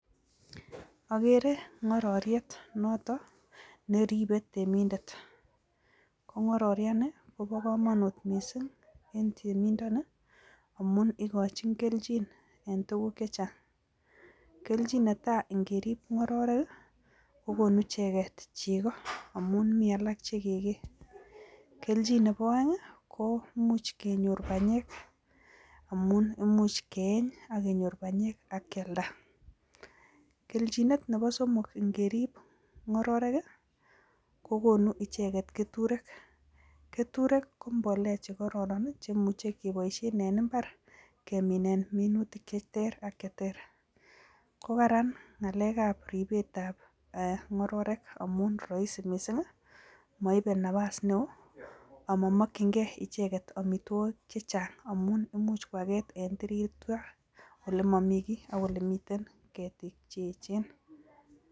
Agere kororiet noton neribe temindet ,ko kororiet nii kobo komonut miisik en temindet nii amun ikochin kelchin en tuguk chechang, keljn neta ikerib kororik kokonu icheket chego amun mi alak che kegee, keljin nebo oek ko imuch kenyor banyek amun imuch ke eny akenyor banyek ak kealda, keljin nebo somok ingerib kororek ii kokonu ichenget keturek, keturek ko bolea chekororon chemuche keboishen en imbar kemenin minutik cheter ak cheter ko karan ngalekab ribetab ee kororek amun raisi miisik moibe napas neo amamanginkee icheket amitwogik chechang amun imuch koaget en tirita olee momii kii ak ole Mii ketik che echen .